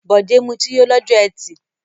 Bọ̀dé mutí yó lọ́jọ́ ẹtì.